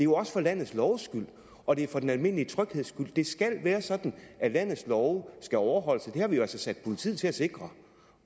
også for landets loves skyld og det er for den almindelige trygheds skyld det skal være sådan at landets love skal overholdes og det har vi jo altså sat politiet til at sikre